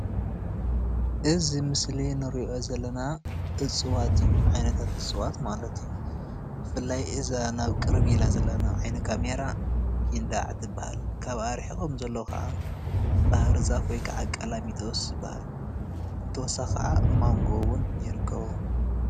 እዚ ኣብ ምስሊ እንሪኦ ዘለና እፅዋት እዩ ዓይነታት እፅዋት ማለት እዩ፡፡ ብፍላይ እዛ ቅርብ ኢላ ዘለና ናብ ዓይኒ ካሜራ ጊንዳዕ ትባሃል፡፡ ካብኣ ሪሒቆም ዘለዉ ከዓ ባህርዛፍ ወይ ከዓ ቀላሚጦስ ይባሃል ብተወሳኪ ከዓ ማንጎ እዉን ይርከቦ፡፡